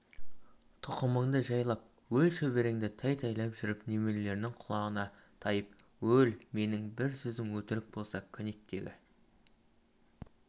тұқымыңды жайып өл шөбереңді тәй-тәйлап жүріп немереңнің құмалағына тайып өл менің бұл сөзім өтірік болса көнектегі